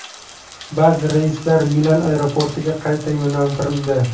Ba’zi reyslar Milan aeroportiga qayta yo‘naltirildi.